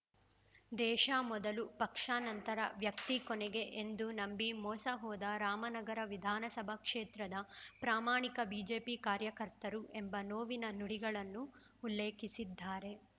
ದೇಶ ಮೊದಲು ಪಕ್ಷ ನಂತರ ವ್ಯಕ್ತಿ ಕೊನೆಗೆ ಎಂದು ನಂಬಿ ಮೋಸ ಹೋದ ರಾಮನಗರ ವಿಧಾನಸಭಾ ಕ್ಷೇತ್ರದ ಪ್ರಾಮಾಣಿಕ ಬಿಜೆಪಿ ಕಾರ್ಯಕರ್ತರು ಎಂಬ ನೋವಿನ ನುಡಿಗಳನ್ನು ಉಲ್ಲೇಖಿಸಿದ್ದಾರೆ